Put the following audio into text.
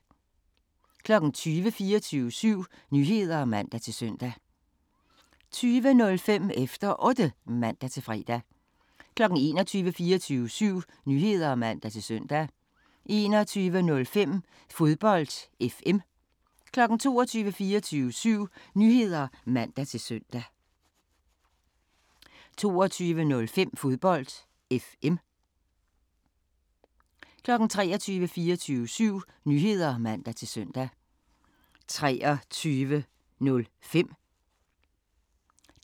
20:00: 24syv Nyheder (man-søn) 20:05: Efter Otte (man-fre) 21:00: 24syv Nyheder (man-søn) 21:05: Fodbold FM 22:00: 24syv Nyheder (man-søn) 22:05: Fodbold FM 23:00: 24syv Nyheder (man-søn) 23:05: